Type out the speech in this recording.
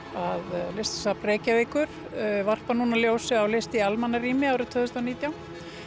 að Listasafn Reykjavíkur varpar nú ljósi á list í almannarými árið tvö þúsund og nítján